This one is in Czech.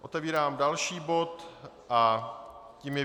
Otevírám další bod a tím je